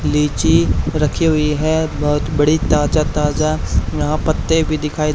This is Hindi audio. लीची रखी हुई है बहुत बड़ी ताजा ताजा यहां पत्ते भी दिखाई--